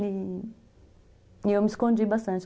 E eu me escondi bastante.